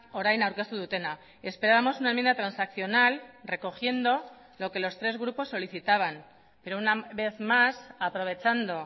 orain aurkeztu dutena esperábamos una enmienda transaccional recogiendo lo que los tres grupos solicitaban pero una vez más aprovechando